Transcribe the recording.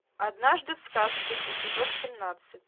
однажды в сказке эпизод семнадцать